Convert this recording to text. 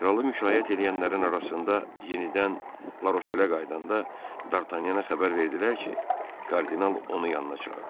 Kralı müşayiət eləyənlərin arasında yenidən Laşelə qayıdanda Dartanyana xəbər verdilər ki, kardinal onu yanına çağırır.